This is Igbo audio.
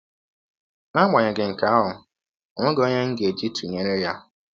N’agbanyeghị nke ahụ, ọ nweghị ọnye m ga - eji tụnyere ya.